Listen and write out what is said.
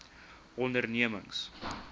ondernemings